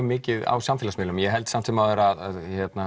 mikið á samfélagsmiðlum en ég held samt sem áður að